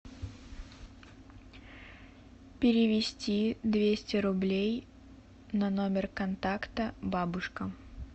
перевести двести рублей на номер контакта бабушка